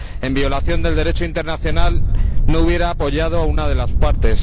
en violación del Derecho internacional, no hubiera apoyado a una de las partes.